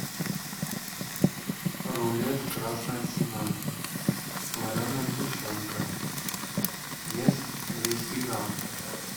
рулет красная цена вареная сгущенка вес двести грамм